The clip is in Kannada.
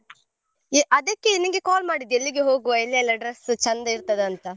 ಎ~ ಅದಕ್ಕೆ ನಿಂಗೆ call ಮಾಡಿದ್ದು ಎಲ್ಲಿ ಹೋಗವ ಎಲ್ಲಿಯೆಲ್ಲಾ dress ಚಂದ ಇರ್ತದಂತ.